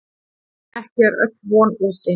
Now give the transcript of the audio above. En ekki er öll von úti.